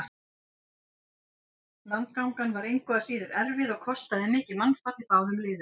Landgangan var engu að síður erfið og kostaði mikið mannfall í báðum liðum.